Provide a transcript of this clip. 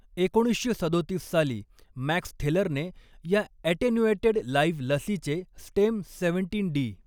एकोणीसशे सदोतीस साली मॅक्स थेलरने या अटेन्युएटेड लाईव्ह लसीचे स्टेम सेवंटीन डी.